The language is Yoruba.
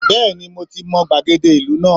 Bẹ́ẹ̀ni mo ti mọ gbàgede ìlú náà